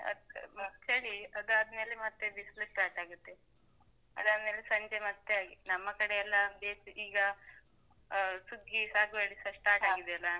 ಚಳಿ ಅದಾದ್ಮೇಲೆ ಮತ್ತೆ ಬಿಸ್ಲು start ಆಗುತ್ತೆ. ಆದಾದ್ಮೇಲೆ ಸಂಜೆ ಮತ್ತೆ ಹಾಗೆ ನಮ್ಮ ಕಡೆಯೆಲ್ಲಾ ಅಹ್ ಈಗ ಅಹ್ ಸುಗ್ಗಿ ಸಾಗುವಾಳಿಸ start ಆಗಿದೆ ಅಲ್ಲಾ?